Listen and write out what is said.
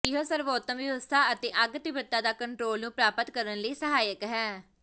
ਇਹ ਸਰਵੋਤਮ ਵਿਵਸਥਾ ਅਤੇ ਅੱਗ ਤੀਬਰਤਾ ਦਾ ਕੰਟਰੋਲ ਨੂੰ ਪ੍ਰਾਪਤ ਕਰਨ ਲਈ ਸਹਾਇਕ ਹੈ